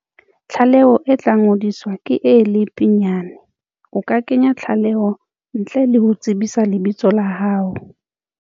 Tlaleo e tlangodiswa ka e le pinyane. O ka kenya tlaleo ntle le ho tsebisa lebitso la hao.